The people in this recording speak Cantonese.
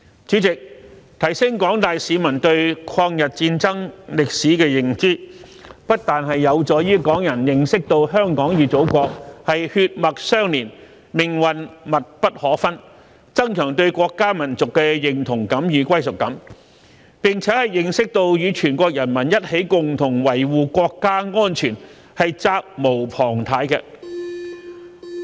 主席，提升廣大市民對抗日戰爭歷史的認知，不但有助於港人認識到香港與祖國血脈相連，命運密不可分，增強對國家、民族的認同感與歸屬感，並且認識到與全國人民一起共同維謢國家安全是責無旁貸的。